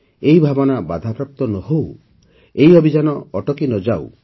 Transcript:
ଏହି ଭାବନା ବାଧାପ୍ରାପ୍ତ ନ ହେଉ ଏହି ଅଭିଯାନ ଅଟକି ନ ଯାଉ